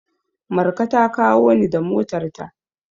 Marka ta kawo ni da motarta.